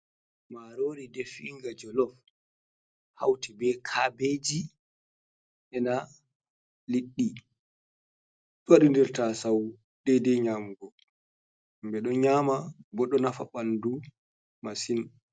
Marori defiinga jolof, hauti be kabeji ena liɗɗi. Ɗo waɗi nder tasau dedei nyamugo. Himɓe ɗo nyama, bo ɗo nafa ɓandu masin.